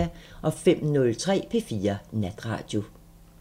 05:03: P4 Natradio